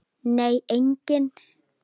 Nei, enginn